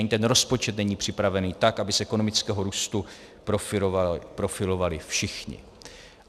Ani ten rozpočet není připravený tak, aby z ekonomického růstu profitovali všichni.